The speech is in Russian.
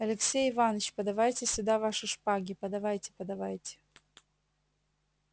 алексей иваныч подавайте сюда ваши шпаги подавайте подавайте